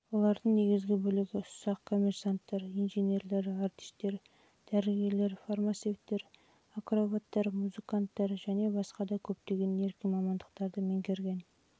олардың негізгі бөлігі ұсақ коммерсанттар инженерлер артистер дәрігерлер фармацевттер акробаттар музыканттар және басқа да көптеген еркін мамандықтардың